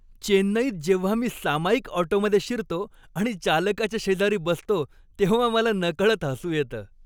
चेन्नईत जेव्हा मी सामायिक ऑटोमध्ये शिरतो आणि चालकाच्या शेजारी बसतो तेव्हा मला नकळत हसू येतं.